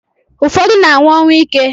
Ufodu na anwu onwuike